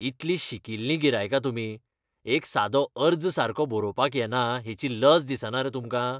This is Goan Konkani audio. इतलीं शिकिल्लीं गिरायकां तुमी. एक सादो अर्ज सारको बरोवपाक येना हेची लज दिसना रे तुमकां? गॅस एजन्सी प्रतिनिधी